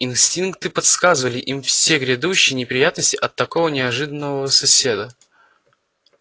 инстинкты подсказывали им все грядущие неприятности от такого неожиданного соседа